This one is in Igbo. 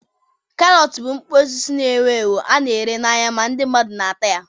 Karọt bụ mkpụrụ osisi na-ewu ewu a na-ere n'ahịa ma ndị mmadụ na-ata ya.